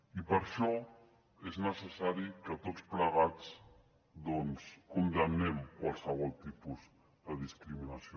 i per això és necessari que tots plegats doncs condemnem qualsevol tipus de discriminació